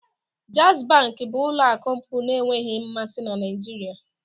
Jaiz Bank bụ ụlọ akụ mbụ na-enweghị mmasị na Nigeria